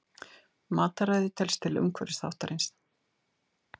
Mataræði telst til umhverfisþáttarins.